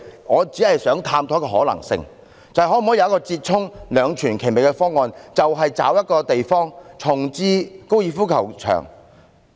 我只想探討一種可能性，尋求一個折衷、兩全其美的方案，找一個地方重置高爾夫球場。